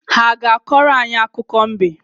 Ha ga-akọrọ anyị akụkọ mbe?